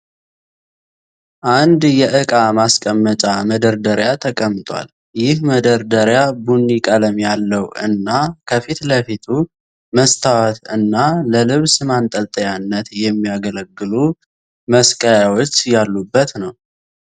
አንድ የእቃ ማስቀመጫ መደርደሪያ ተቀምጧል። ይህ መደርደሪያ ቡኒ ቀለም ያለው እና ከፊት ለፊቱ መስታወት እና ለልብስ ማንጠልጠያነት የሚያገለግሉ መስቀያዎች ያሉበት ነው።